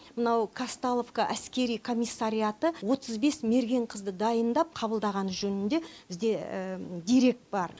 мынау казталовка әскери комиссариаты отыз бес мерген қызды дайындап қабылдағаны жөнінде бізде дерек бар